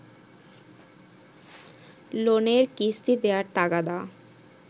লোনের কিস্তি দেয়ার তাগাদা